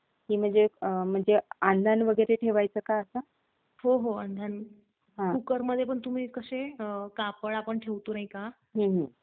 Good good very good keep it up खूप छान वाटतं मला ऐकून आणि असंच वाटचाल कर पुढे. आणि आपल्या याला भेटला का तू गड्याकडे गेला जाऊन आलास की नाही रे तू.